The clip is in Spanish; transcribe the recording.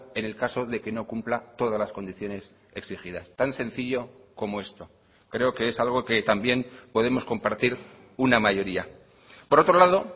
en el caso de que no cumpla todas las condiciones exigidas tan sencillo como esto creo que es algo que también podemos compartir una mayoría por otro lado